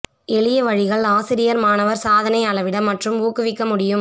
எளிய வழிகள் ஆசிரியர் மாணவர் சாதனை அளவிட மற்றும் ஊக்குவிக்க முடியும்